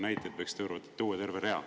Näiteid võiks tuua terve rea.